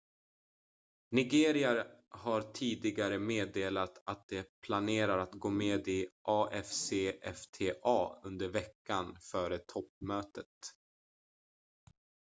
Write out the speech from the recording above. nigeria har tidigare meddelat att de planerar att gå med i afcfta under veckan före toppmötet